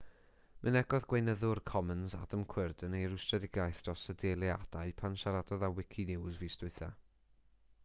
mynegodd gweinyddwr commons adam cuerden ei rwystredigaeth dros y dileadau pan siaradodd a wikinews fis diwethaf